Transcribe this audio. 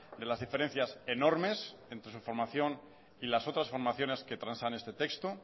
de las diferencias enormes entre su formación y las otras formaciones que transan este texto